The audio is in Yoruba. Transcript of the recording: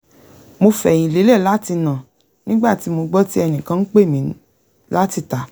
mò fẹ̀yìn lélẹ̀ láti nà nígbà tí mo gbọ́ tí ẹnìkan ń pè mí láti ìta